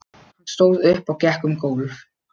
Hann stóð upp og gekk um gólf.